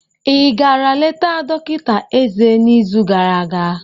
igara leta dọkịta eze n'izu gara aga?